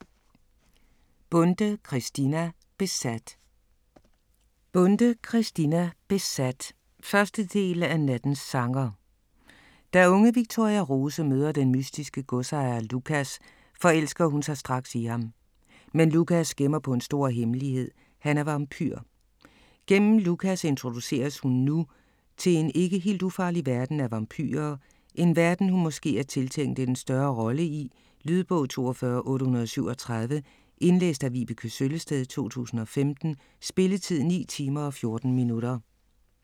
Bonde, Christina: Besat 1. del af Nattens sanger. Da unge Victoria Rose møder den mystiske godsejer Lucas, forelsker hun sig straks i ham. Men Lucas gemmer på en stor hemmelighed, han er vampyr. Gennem Lucas introduceres hun nu til en ikke helt ufarlig verden af vampyrer, en verden hun måske er tiltænkt en større rolle i? Lydbog 42837 Indlæst af Vibeke Søllested, 2015. Spilletid: 9 timer, 14 minutter.